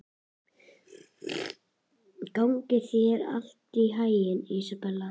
Gangi þér allt í haginn, Ísabella.